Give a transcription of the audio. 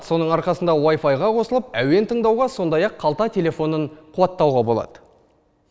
соның арқасында вайфайға қосылып әуен тыңдауға сондай ақ қалта телефонын қуаттауға болады